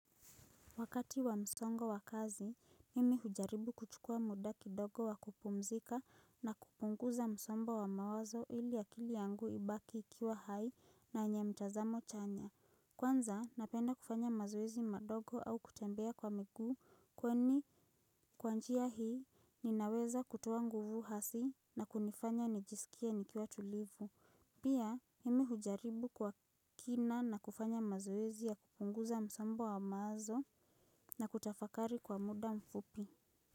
Wakati wa msongo wa kazi, mimi hujaribu kuchukua muda kidogo wa kupumzika na kupunguza msongo wa mawazo ili akili yangu ibaki ikiwa hai na yenye mtazamo chanya. Kwanza, napenda kufanya mazoezi madogo au kutembea kwa miguu, kwani kwa njia hii ninaweza kutoa nguvu hasi na kunifanya nijisikie nikiwa tulivu. Pia mimi hujaribu kwa kina na kufanya mazoezi ya kupunguza msombo wa mawazo na kutafakari kwa muda mfupi.